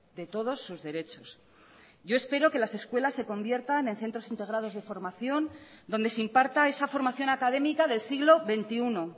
de todos sus derechos yo espero que las escuelas se conviertan en centros integrados de formación donde se imparta esa formación académica del siglo veintiuno